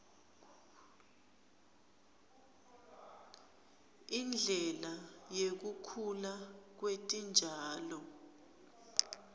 indlela yekukhula kwetitjalo